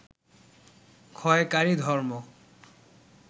ক্ষয়কারী ধর্ম